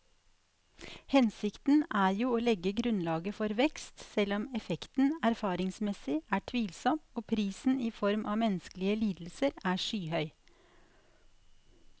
Hensikten er jo å legge grunnlaget for vekst, selv om effekten erfaringsmessig er tvilsom og prisen i form av menneskelige lidelser er skyhøy.